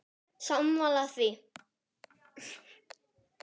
Guðni á lygnum sjó?